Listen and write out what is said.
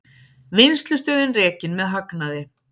Vinnslustöðin rekin með hagnaði